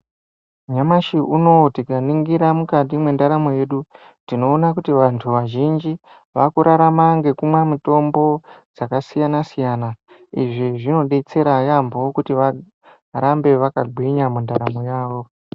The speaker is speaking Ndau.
Nyamashi unowu tikaningira mukati mwendaramo yedu tinoona kuti vantu vazhinji vakurarama ngekumwa mutombo dzakasiyana siyana izvi zvinodetsera yambo kuti varambe vakagwinya mundaramo yavo.